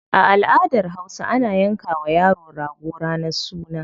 A aladar hausa, ana yanka wa yaro rago ranar suna.